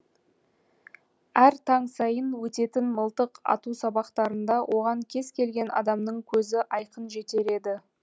әр таң сайын өтетін мылтық ату сабақтарында оған кез келген адамның көзі айқын жетер еді